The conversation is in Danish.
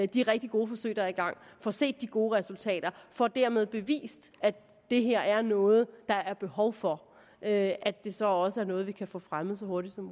de rigtig gode forsøg der er i gang og får set de gode resultater og dermed får bevist at det her er noget der er behov for at det så også er noget vi kan få fremmet så hurtigt som